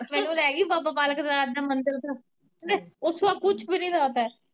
ਮੈਨੂੰ ਲੈਗੀ ਬਾਬਾ ਬਾਲਕ ਨਾਥ ਦਾ ਮੰਦਿਰ ਓੱਥੇ ਓੱਥੋ ਦਾ ਕੁੱਝ ਵੀ ਨੀ ਲੱਗਦਾ ਏ।